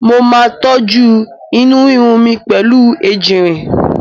Mo máa tọ́jú inú rírun mi pẹ̀lú ejìnrìn.